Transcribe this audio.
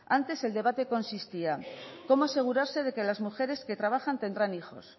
antes el debate consistía cómo asegurarse de que las mujeres que trabajan tendrán hijos